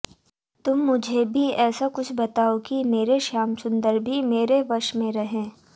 तुम मुझे भी ऐसा कुछ बताओ कि मेरे श्यामसुंदर भी मेरे वश में रहें